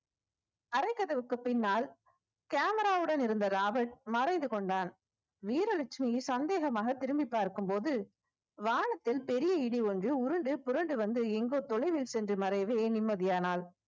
அறைக்கதவுக்கு பின்னால் camera வுடன் இருந்த ராபர்ட் மறைந்து கொண்டான் வீரலட்சுமியை சந்தேகமாக திரும்பி பார்க்கும் போது வானத்தில் பெரிய இடி ஒன்று உருண்டு புரண்டு வந்து எங்கோ தொலைவில் சென்று மறையவே நிம்மதியானாள்